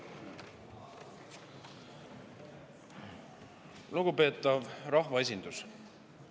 Lugupeetav rahvaesindus!